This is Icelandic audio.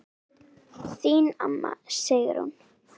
Þín amma, Sigrún.